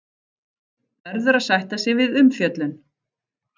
Verður að sætta sig við umfjöllun